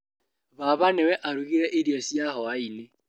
Baba nĩwe arugire irio cia hwainĩ.